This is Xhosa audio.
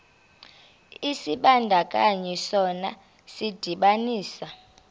isibandakanyi sona sidibanisa